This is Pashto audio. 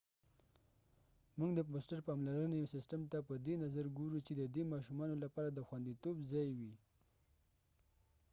موږ د فوسټر پاملرنې سیسټم ته په دې نظر ګورو چې د دې ماشومانو لپاره د خوندیتوب ځای وي